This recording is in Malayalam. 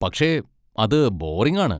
പക്ഷെ അത് ബോറിങ് ആണ്.